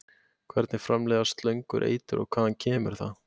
Hvernig framleiða slöngur eitur og hvaðan kemur það?